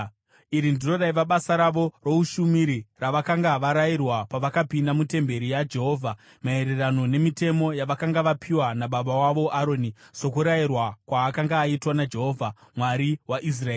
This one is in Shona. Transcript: Iri ndiro raiva basa ravo roushumiri ravakanga varayirwa pavakapinda mutemberi yaJehovha, maererano nemitemo yavakanga vapiwa nababa wavo Aroni sokurayirwa kwaakanga aitwa naJehovha, Mwari waIsraeri.